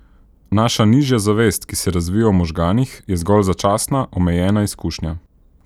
Naša nižja zavest, ki se razvije v možganih, je zgolj začasna, omejena izkušnja.